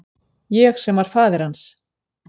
Ég sem var faðir hans.